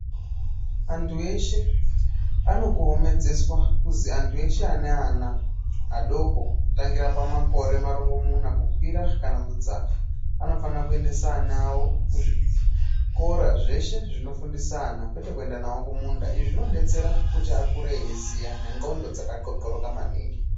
Antu eshe anokomehodzeswa kuzi antu eshe ane ana adoko kutangira pamakore marongomuna kukwira kana kudzanga anofana kuendese ana awo kuzvikora zveshe zvinofundisa ana kwete kuenda nawo kumunda izvi zvinodetsera kuti akure eiziya nenxlondo dzakathlothloroka maningi.